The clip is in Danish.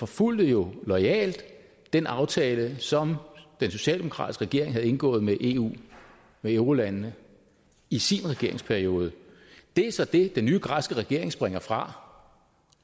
fulgte jo loyalt den aftale som den socialdemokratiske regering havde indgået med eu med eurolandene i sin regeringsperiode det er så det den nye græske regering springer fra